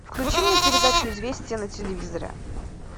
включи мне передачу известия на телевизоре